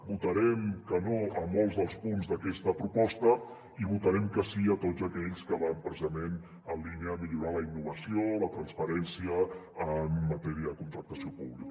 votarem que no a molts dels punts d’aquesta proposta i votarem que sí a tots aquells que van precisament en línia a millorar la innovació la transparència en matèria de contractació pública